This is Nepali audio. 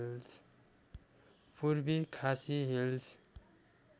पूर्वी खासी हिल्स